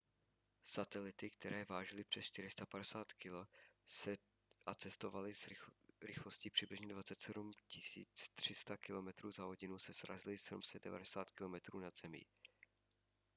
satelity které vážily přes 450 kg a cestovaly rychlostí přibližně 27 300 kilometrů za hodinu se srazily 790 km nad zemí